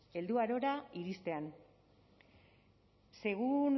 helduarora iristean según